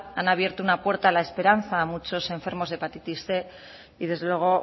han abierto una puerta a la esperanza a muchos enfermos de hepatitis cien y desde luego